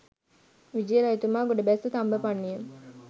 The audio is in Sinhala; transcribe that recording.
විජය රජතුමා ගොඩබැස්ස තම්බපන්ණිය